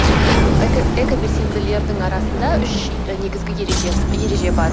экобелсенділердің арасында үш і негізгі ереже бар